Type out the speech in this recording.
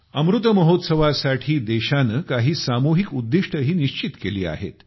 अमृत महोत्सवा साठी देशाने काही सामुहिक उद्दिष्टेही निश्चित केली आहेत